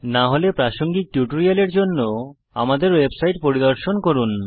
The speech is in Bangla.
না হলে প্রাসঙ্গিক টিউটোরিয়াল জন্য আমাদের ওয়েবসাইট পরিদর্শন করুন